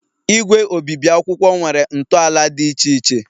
Igwe obibi akwụkwọ nwere ntọala dị iche iche